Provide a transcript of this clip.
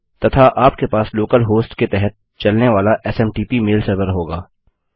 तथा आपके पास लोकल हॉस्ट के तहत चलने वाला एसएमटीपी मेल सर्वर होगा